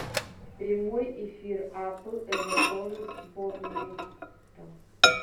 прямой эфир апл эвертона с борнмутом